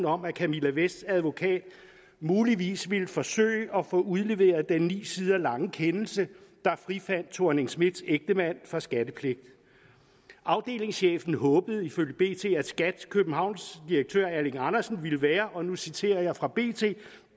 om at camilla vests advokat muligvis ville forsøge at få udleveret den ni sider lange kendelse der frifandt helle thorning schmidts ægtemand for skattepligt afdelingschefen håbede ifølge bt at skat københavns direktør erling andersen ville være og nu citerer jeg fra bt